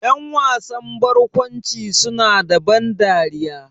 Ƴan wasan barkwanci su na da ban dariya